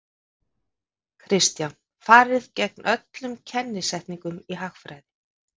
Kristján: Farið gegn öllum kennisetningum í hagfræði?